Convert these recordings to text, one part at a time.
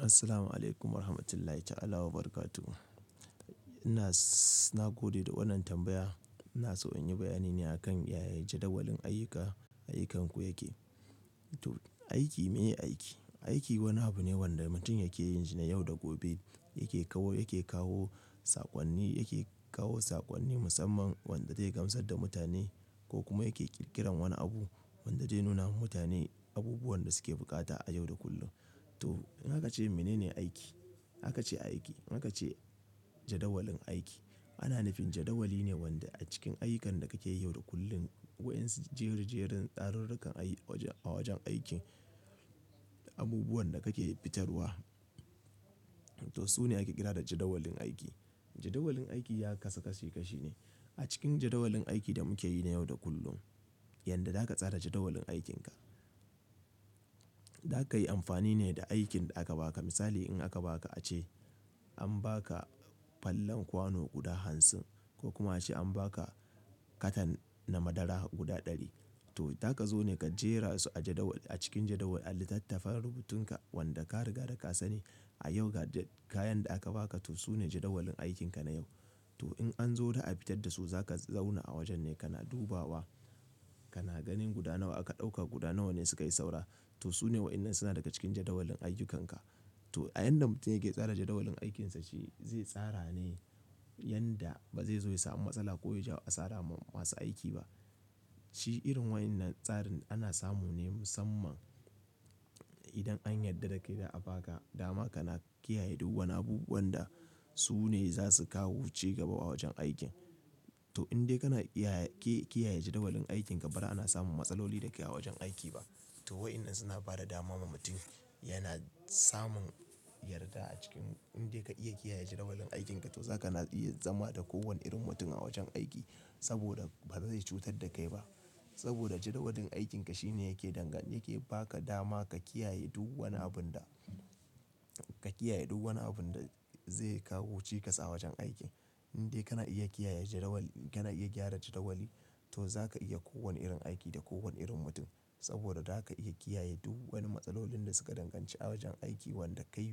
Assalamualaikum warahmatullahi ta'ala wabarakatuh. Ina, na gode da wannan tambaya. Ina so in yi bayani ne a kan yaya jadawalin ayyuka, ayyukanku yake. To, aiki meye aiki? Aiki wani abu ne wanda mutum yake yin shi ne yau da gobe. Yake kawo, yake kawo saƙonni, yake kawo saƙonni musamman wanda zai gamsar da mutane ko kuma yake ƙirƙiran wani abu wanda zai nuna wa mutane abubuwan da suke buƙata a yau da kullum. To, in aka ce mene ne aiki? Aka ce aiki. Haka ce jadawalin aiki. Ana nufin jadawali ne wanda a cikin ayyukan da kake yi yau da kullum, wa'insu jerijerin tsarurrukan a waj-a wajen aiki, abubuwan da kake fitarwa. To, su ne ake kira da jadawalin aiki. Jadawalin aiki ya kasashekashi ne. A cikin jadawalin aiki da muke yi na yau da kullum, yanda zaka tsara jadawalin aikinka. Zaka yi amfani ne da aikin da aka baka. Misali in aka baka ace an baka fallen kwano guda hansin ko kuma ace an baka katan na madara guda ɗari. To, zaka zo ne ka jera su a jadawal a cikin jadawali a littattafan rubutunka wanda ka riga da ka sani a yau ga kayan da aka baka to su ne jadawalin aikinka na yau. To, in an zo za a fitar da su zaka zauna a wajen ne kana dubawa, kana ganin guda nawa aka ɗauka, guda nawa ne suka yi saura. To, su ne wa'innan suna daga cikin jadawalin ayyukanka. To, a yanda mutum yake tsara jadawalin aikinsa shi zai tsara ne yanda ba zai zo ya sami matsala ko ya ja asara ma masu aiki ba. Shi irin wa'innan tsarin ana samu ne musamman idan an yarda da kai da a baka dama kana kiyaye duk wani abubuwanda su ne za su kawo ci gaba a wajen aikin. To, in dai kana iya ki-kiyaye jadawalin aikin ka, ba'ra ana samun matsaloli da ke a wajen aiki ba. To, wa'innan suna ba da dama ma mutum. Yana samun yarda a cikin in dai ka iya kiyaye jadawalin aikin ka to za ka iya zama da kowane irin mutum a wajen aiki saboda ba zai cutar da kai ba. Saboda jadawalin aikin ka shine yake dangane yake ba ka dama ka kiyaye duk wani abun da, ka kiyaye duk wani abun da zai kawo cikas a wajen aiki. In dai kana iya kiyaye jadawali, kana iya gyara jadawali to zaka iya kowane irin aiki da kowane irin mutum saboda zaka iya kiyaye duk wani matsalolin da suka danganci a wajen aiki wanda kai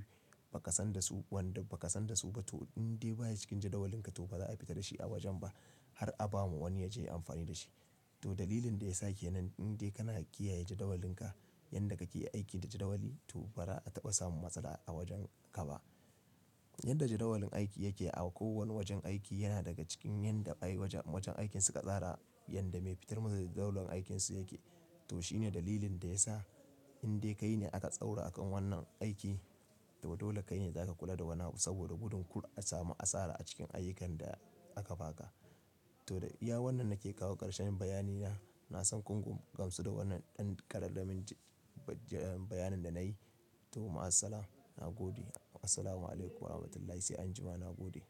ba ka san da su, wanda ba ka san da su ba. To, in dai baya cikin jadawalinka to ba za a fita da shi a wajen ba har a ba wani ya je yi amfani da shi. To, dalilin da ya sake nan in dai kana kiyaye jadawalinka, yanda kake yi aiki da jadawali to ba'ra a taba samun matsala a wajen ka ba. Yanda jadawalin aiki yake a kowanne wajen aiki yana daga cikin yanda ayi wajen aikin suka tsara, yanda me fitar masu jadawalin aikinsu yake. To, shi ne dalilin da ya sa in dai kai ne aka tsaurara a kan wannan aiki to dole kai ne za ka kula da wannan abu saboda budin ku a samu asara a cikin ayyukan da aka baka. To, da iya wannan nake kawo karshen bayani na. Na san kun gamsu da wannan ɗan ƙararramin bayanin da na yi. To, ma'as-salam, na gode. Assalamualaikum warahmatullahi sai anjima, na gode.